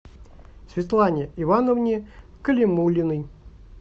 светлане ивановне калимуллиной